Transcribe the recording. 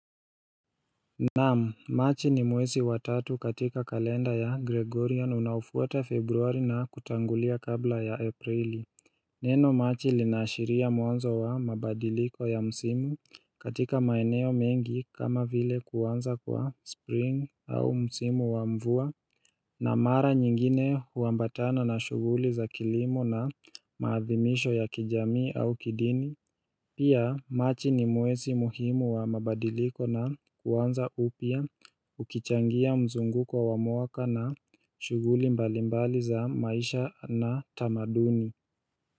Naam, machi ni mwezi wa tatu katika kalenda ya Gregorian unaofuata februari na kutangulia kabla ya aprili Neno machi linaashiria mwanzo wa mabadiliko ya msimu katika maeneo mengi kama vile kuanza kwa spring au msimu wa mvua na mara nyingine huambatana na shughuli za kilimo na maathimisho ya kijamii au kidini Pia machi ni mwezi muhimu wa mabadiliko na kuanza upya ukichangia mzunguko wa mwaka na shughuli mbalimbali za maisha na tamaduni.